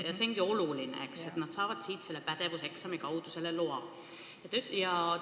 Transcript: Ja see ongi oluline, et nad saavad siit selle pädevuseksami kaudu selleks loa.